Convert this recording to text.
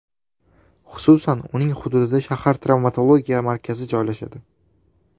Xususan, uning hududida shahar travmatologiya markazi joylashadi.